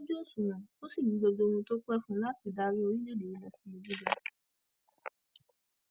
ó kún ojú òṣùwọn ó sì ní gbogbo ohun tó pẹ fún láti darí orílẹèdè yìí lọ sí ibi gíga